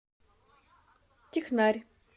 технарь